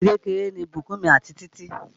Ọ̀rẹ́ àti kékeré ni Bukunmi àti Títí